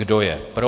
Kdo je pro?